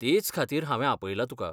तेंच खातीर हांवें आपयलां तुका.